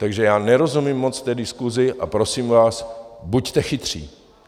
Takže já nerozumím moc té diskusi a prosím vás, buďte chytří.